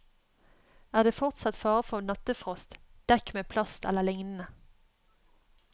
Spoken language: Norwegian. Er det fortsatt fare for nattefrost, dekk med plast eller lignende.